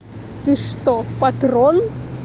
ты что патрон